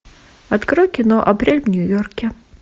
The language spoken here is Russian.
открой кино апрель в нью йорке